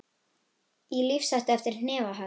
Í lífshættu eftir hnefahögg